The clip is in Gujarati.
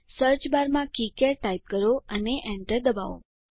સર્ચબારમાં કિકાડ ટાઇપ કરો અને એન્ટર દબાવો